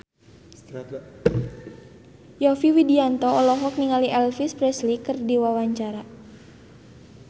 Yovie Widianto olohok ningali Elvis Presley keur diwawancara